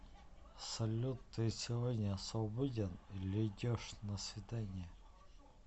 салют ты сегодня свободен или идешь на свидание